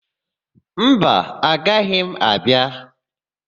Mba, agaghị m abịa.